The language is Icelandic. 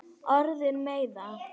Orðin meiða.